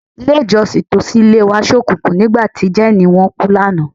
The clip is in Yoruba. Ilé-ìjọ́sìn tòsí ilé wa ṣókùnkùn nígbà tí jẹ́ẹ̀nì wọn kú lánàá.